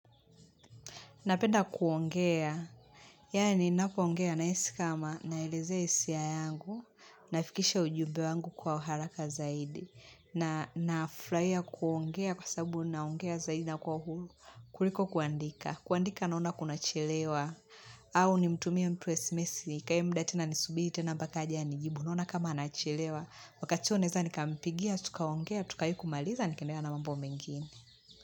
Napenda kuongea, yani napoongea nahisi kama naeleze hisia yangu, nafikisha ujube wangu kwa haraka zaidi. Na nafrahia kuongea kwasabu naongea zaidi na kwa hulu, kuliko kuandika. Kuandika naona kunachelewa, au ni mtumie mtu esmesi, nikae mda tena nisubiri, tena mbaka aje, anijibu, naona kama anachelewa. Wakati huo naeza nikamipigia, tukaongea, tukai kumaliza, nikaendelea na mambo mengine.